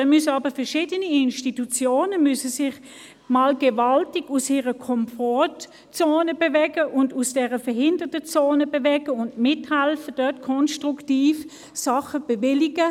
Dann müssen sich jedoch verschiedene Institutionen einmal gewaltig aus ihrer Komfortzone und aus der «Verhinderungszone» bewegen und mithelfen, in konstruktiver Weise Dinge zu bewilligen.